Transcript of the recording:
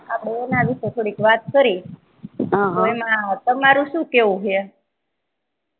આપડે એના વિષે થોડી વાત કરી અં હઃ એમાં તમારું સુ કેવું હે